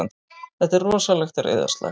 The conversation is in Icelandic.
Þetta er rosalegt reiðarslag!